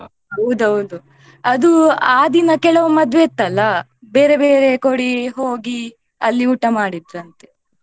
ಹೌದು ಹೌದು ಅದು ಆ ದಿನ ಕೆಲವು ಮದ್ವೆ ಇತ್ತಲ್ಲ ಬೇರೆ ಬೇರೆ ಹೋಗಿ ಅಲ್ಲಿ ಊಟ ಮಾಡಿದ್ರಂತೆ.